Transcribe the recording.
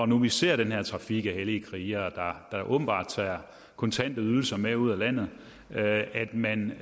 nu ser den her trafik af hellige krigere der åbenbart tager kontante ydelser med ud af landet at man